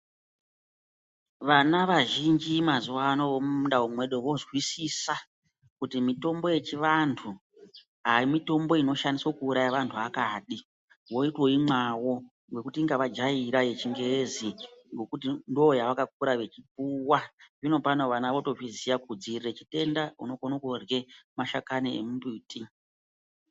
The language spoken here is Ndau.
Vana vazhinji mazuwano vemundau medu vozwisisa kuti mitombo yechindau aimitombo unouraya vanthu akadi votoimwawo ngekuti inga vajaira yechingezi ngokuti ndoyacakakura vechipuwa zvinopano vanq votozviziya kuti kudzivirira chitenda unokone kurhya mashakani emimbuti.